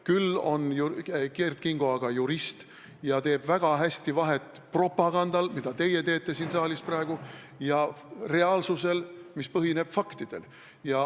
Küll on Kert Kingo jurist ja teeb väga hästi vahet propagandal, mida teete teie siin saalis praegu, ja reaalsusel, mis põhineb faktidel.